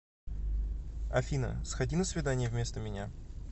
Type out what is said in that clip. афина сходи на свидание вместо меня